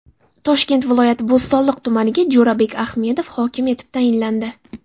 Toshkent viloyati Bo‘stonliq tumaniga Jo‘rabek Ahmedov hokim etib tayinlandi.